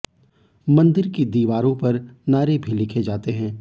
मंदिर की दिवालों पर नारे भी लिखें जाते हैं